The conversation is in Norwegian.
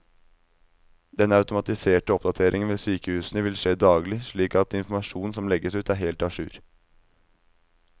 Den automatiserte oppdateringen ved sykehusene vil skje daglig, slik at informasjonen som legges ut er helt a jour.